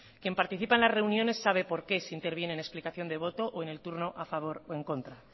quien participa en las reuniones sabe por qué se interviene en explicación de voto o en el turno a favor o en contra